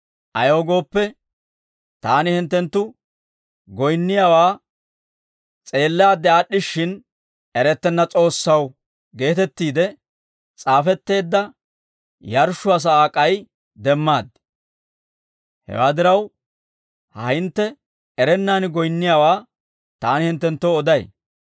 Ayaw gooppe, taani hinttenttu goyinniyaawaa s'eellaadde aad'd'ishshin, ‹Erettenna S'oossaw› geetettiide s'aafetteedda yarshshuwaa sa'aa k'ay demmaad; hewaa diraw, ha hintte erennaan goyinniyaawaa taani hinttenttoo oday.